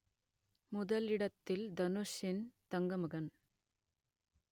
முதலிடத்தில் தனுஷின் தங்கமகன்